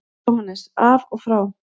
JÓHANNES: Af og frá!